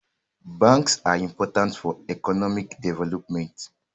Banks are important for economic development